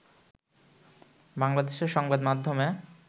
বাংলাদেশের সংবাদ মাধ্যমে